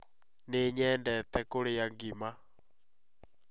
Nĩ nyendete kũrĩa ngima